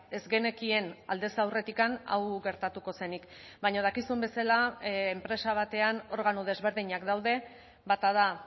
ez genekien aldez aurretik hau gertatuko zenik baina dakizun bezala enpresa batean organo desberdinak daude bata da